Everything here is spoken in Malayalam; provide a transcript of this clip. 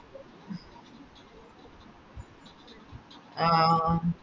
ആ ആഹ് ആഹ്